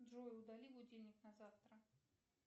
джой удали будильник на завтра